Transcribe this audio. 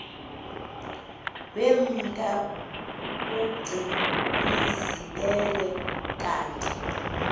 wemka ugcinizibele kanti